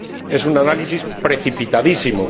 Es un análisis precipitadísimo.